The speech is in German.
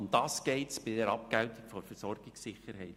Um das geht es bei der Abgeltung der Versorgungssicherheit.